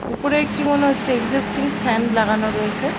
উপরের একটি মনে হচ্ছে একজাস্টিং ফ্যান লাগানো রয়েছে।